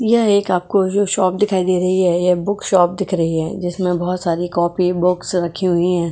यह एक आपको जो शॉप दिखाई दे रही है यह बुक शॉप दिख रही है जिसमें बहुत सारी कॉपी बुक्स रखी हुई है।